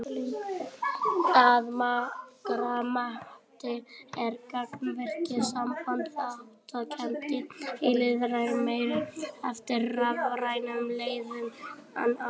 Að margra mati er gagnvirkt samband þátttakenda í lýðræði meira eftir rafrænum leiðum en annars.